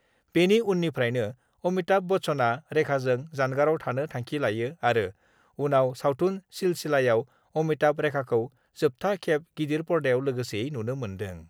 बेनि उननिफ्रायनो अमिताभ बच्चनआ रेखाजों जानगाराव थानो थांखि लायो आरो उनाव सावथुन 'सिलसिला'याव अमिताभ-रेखाखौ जोबथा खेब गिदिर पर्दायाव लोगोसेयै नुनो मोन्दों।